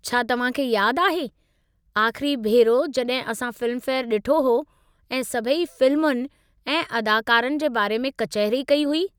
छा तव्हांखे यादु आहे आख़िरी भेरो जड॒हिं असां फ़िल्मफेयर डि॒ठो हो ऐं सभई फ़िल्मुनि ऐं अदाकारनि जे बारे में कचहरी कई हुई।